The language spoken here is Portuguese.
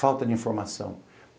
Falta de informação.